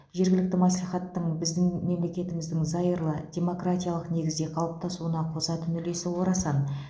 жергілікті мәслихаттың біздің мемлекетіміздің зайырлы демократиялық негізде қалыптасуына қосатын үлесі орасан